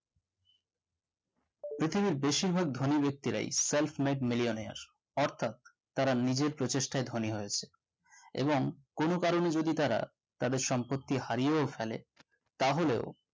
পৃথিবীর বেশিরভাগ ধনী ব্যাক্তিরাই self made millionaire এর অর্থাৎ তারা নিজের প্রচেষ্টায় ধনী হয়েছে এবং কোনো কারণে যদি তারা তাদের সম্পত্তি হারিয়েও ফেলে তাহলেও